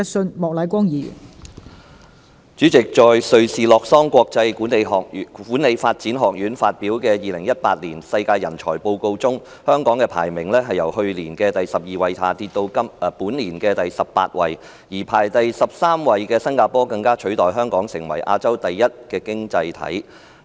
代理主席，在瑞士洛桑國際管理發展學院發表的《2018年世界人才報告》中，香港的排名由去年的第12位下跌至本年的第18位，而排第13位的新加坡更取代香港，成為亞洲第一的經濟體。